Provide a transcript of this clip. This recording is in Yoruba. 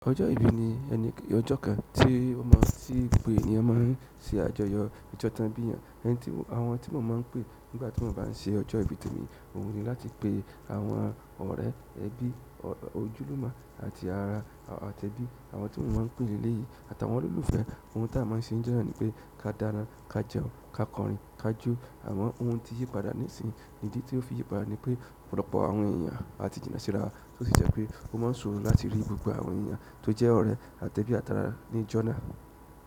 Ọjọ́ ìbí ni ẹni ọjọ́ kan tí ó máa tí gbogbo ènìyàn máa ń ṣe àjọyọ̀ ojo ton biiyàn. Ẹni tí àwọn tí mo máa ń pè nígbà tí mo bá ń ṣe ọjọ́ ìbí temi, oun ni láti pe àwọn ọ̀rẹ́, ẹbí, ojúlumo, àti ara àti ẹbí, àwọn tí mo máa ń pè leleyìí àti àwọn olólùfẹ́. Ohun tí a máa ń ṣe njọ́ nàa ni pé ka dána, ka jẹun, ka kọrin, ka jó. Amo ohun tí yí padà nísìn, ìdí tí ó fi yí padà ni pé, ọ̀pọ̀lọpọ̀ àwọn ènìyàn á ti jinnà síra wa, tó sì jẹ́ pé ó máa ń sọ̀rọ̀ láti rí gbogbo àwọn ènìyàn tó jẹ́ ọ̀ré àti ẹbí àti ara ní ìjọ́ nàa.